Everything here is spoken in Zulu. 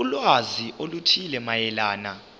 ulwazi oluthile mayelana